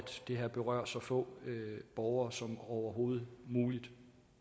det her berører så få borgere som overhovedet muligt